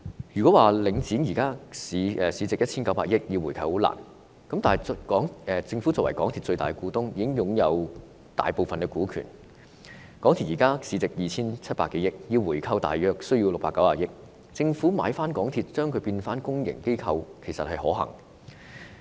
若說因為領展現時市值 1,900 億元而難以回購，那麼政府作為港鐵的最大股東，擁有大部分股權，以港鐵現時市值 2,700 多億元計算，回購港鐵只需約690億元，政府回購港鐵，使之成為公營機構，其實是可行的。